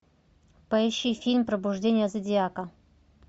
поищи фильм пробуждение зодиака